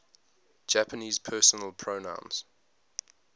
japanese personal pronouns